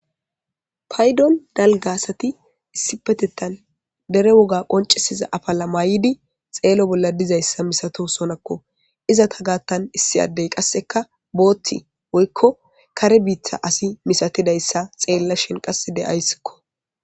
Payddon dalgga asati issipetetan dere wogga qoncisida afala mayiddi xeelo bolla diza issa misatosona.izatagatan qassi issi adde qassika bothi woykko kare bitta asa misatida issa xeelashe qassi de'ayisko